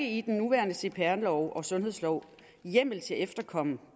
i den nuværende cpr lov eller sundhedslov er hjemmel til at efterkomme